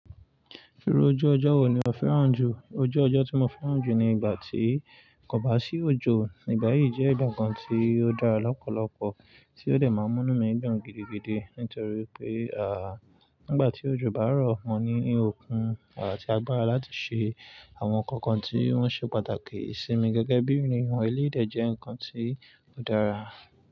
Író ojú ọjọ́ wo ni ó fẹ́ràn jù? Ojú ọjọ́ tí mo fẹ́ràn jù ni ìgbà tí kò bá sí òjò. Ìgbà yìí jẹ́ ìgbà kan tí ó dára lọ́pọ̀lọpọ̀.tí ó dè máa mú mí dùn gidigidi nítorí pé, à, nígbà tí òjò bá rọ̀ wọ́n ní òòkún àti agbára láti ṣe àwọn nǹkan kan tí wọ́n ṣe pàtàkì sí mi gẹ́gẹ́ bí ènìyàn èléyìí de jẹ́ ǹkan tí. Ó dára.